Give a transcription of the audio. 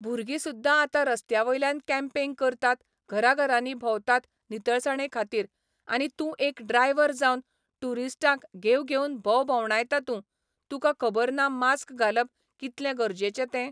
भुरगी सुद्धा आतां रस्त्या वयल्यान कँपेंग करतात घरां घरांनी भोंवतात नितळसाणे खातीर आनी तूं एक ड्रायव्हर जावन टुरिस्टांक घेव घेवन भोव भोवडांयता तूं तुका खबर ना मास्क घालप कितलें गरजेचे तें.